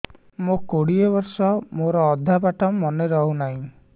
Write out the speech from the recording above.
ମୋ କୋଡ଼ିଏ ବର୍ଷ ମୋର ଅଧା ପାଠ ମନେ ରହୁନାହିଁ